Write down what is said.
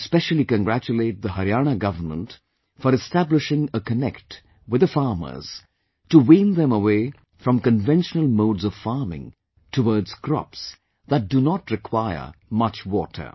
I specially congratulate the Haryana Government for establishing a connect with the farmers to wean them away from conventional modes of farming towards crops that do not require much water